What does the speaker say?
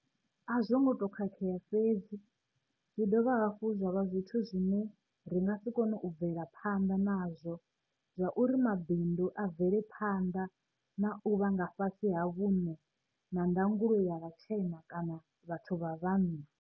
A zwo ngo tou khakhea fhedzi, zwi dovha hafhu zwa vha zwithu zwine ra nga si kone u bvela phanḓa nazwo zwauri mabindu a bvele phanḓa na u vha nga fhasi ha vhuṋe na ndangulo ya vhatshena kana vhathu vha vhanna.